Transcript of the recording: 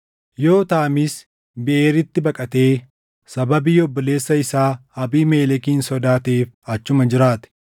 Yootaamis Biʼeeritti baqatee sababii obboleessa isaa Abiimelekin sodaateef achuma jiraate.